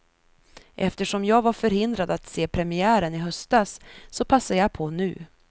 Eftersom jag var förhindrad att se premiären i höstas, så passar jag på nu.